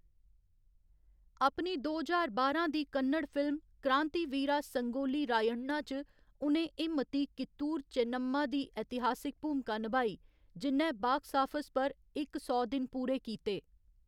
अपनी दो ज्हार बारां दी कन्नड़ फिल्म क्रांतिवीरा संगोली रायण्णा च उ'नें हिम्मती कित्तूर चेन्नम्मा दी इतिहासिक भूमिका नभाई, जि'न्नै बाक्स आफस पर इक सौ दिन पूरे कीते।